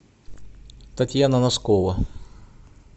татьяна носкова